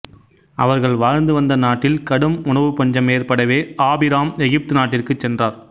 அவர்கள் வாழ்ந்துவந்த நாட்டில் கடும் உணவுப் பஞ்சம் ஏற்படவே ஆபிராம் எகிப்து நாட்டிற்குச் சென்றார்